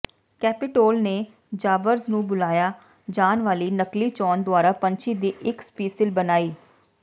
Capitol ਨੇ ਜਾਬਬਰਜ ਨੂੰ ਬੁਲਾਇਆ ਜਾਣ ਵਾਲੀ ਨਕਲੀ ਚੋਣ ਦੁਆਰਾ ਪੰਛੀ ਦੀ ਇੱਕ ਸਪੀਸੀਲ ਬਣਾਈ